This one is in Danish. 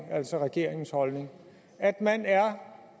altså regeringens holdning at man er